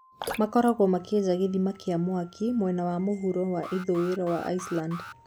Makoragwo makĩenja gĩthima kĩa mwaki mwena wa mũhuro wa ithũĩro wa Iceland.